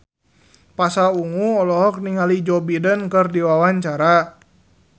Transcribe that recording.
Pasha Ungu olohok ningali Joe Biden keur diwawancara